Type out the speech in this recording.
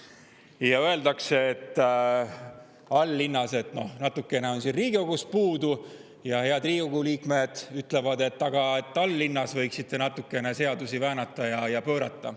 All-linnas öeldakse, et natukene on siin Riigikogus puudu, ja head Riigikogu liikmed ütlevad, et Tallinnas võiks ikka natukene seadusi väänata ja pöörata.